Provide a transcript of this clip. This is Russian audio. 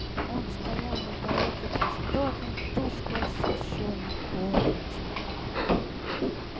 он стоял на пороге просторной тускло освещённой комнате